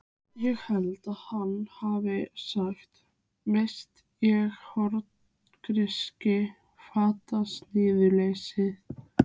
Ég held að hann hafi sagt: Verst er horngrýtis fantasíuleysið.